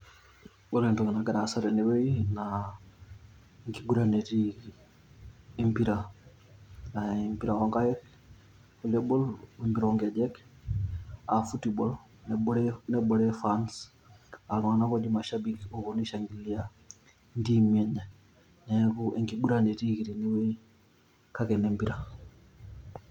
Ore entoki nagira aasa tenewuei naa enkiguran etiiki, aa empira aa empira oonkaik tenebo o empira oonkejek aa football nebore fans aa iltung'anak ooji mashabiki ooponu aishangilia intiimi enye, neeku enkiguuran etiiki tenewueji kake enempira.